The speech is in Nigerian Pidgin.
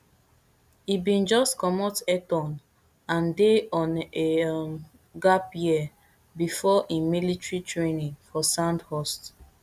e bin just comot eton and dey on a um gap year bifor im military training for sandhurst